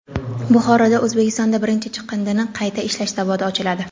Buxoroda O‘zbekistonda birinchi chiqindini qayta ishlash zavodi ochiladi.